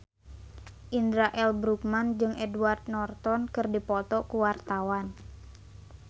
Indra L. Bruggman jeung Edward Norton keur dipoto ku wartawan